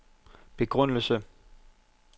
begrundelse